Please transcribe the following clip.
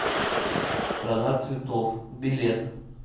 страна цветов билет